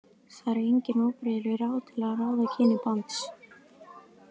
Það eru engin óbrigðul ráð til þess að ráða kyni barns.